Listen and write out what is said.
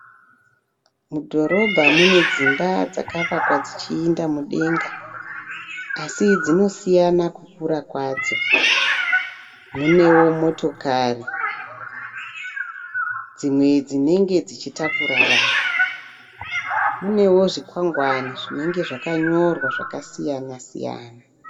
Mudhorobha munedzimba dzakavakwa dzichienda mudenga asi dzinosinaya kukura kwadzo. Munewo motokari dzimwe dzinenge dzichitakura vanhu. Munewo zvikwangwani zvakanyorwa zvakasiyana siyana.